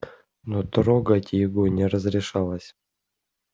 но трогать его не разрешалось